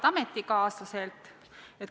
Head ametikaaslased!